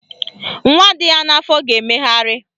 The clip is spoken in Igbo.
Nwa dị ya n'afọ ga-emegharị